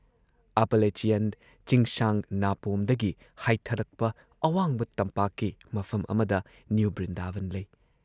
Appalachian ꯆꯤꯡꯁꯥꯡ ꯅꯥꯄꯣꯝꯗꯒꯤ ꯍꯥꯏꯊꯔꯛꯄ ꯑꯋꯥꯡꯕ ꯇꯝꯄꯥꯛꯀꯤ ꯃꯐꯝ ꯑꯃꯗ ꯅ꯭ꯌꯨ ꯕ꯭ꯔꯤꯗꯥꯕꯟ ꯂꯩ ꯫